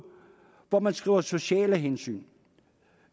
hvor man skriver sociale hensyn